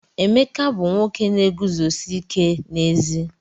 Emeka bu nwoke na-eguzosi ike n'ezi.